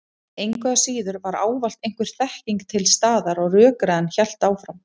Engu að síður var ávallt einhver þekking til staðar og rökræðan hélt áfram.